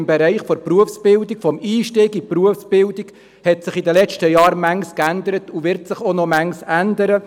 Im Bereich des Einstiegs in die Berufsbildung hat sich in den letzten Jahren vieles geändert, und es wird sich auch noch vieles ändern.